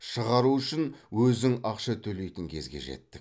шығару үшін өзің ақша төлейтін кезге жеттік